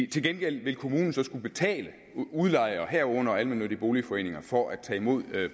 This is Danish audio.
til gengæld vil kommunen så skulle betale udlejer herunder almennyttige boligforeninger for at tage imod